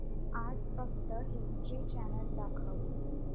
आज फक्त history channel दाखव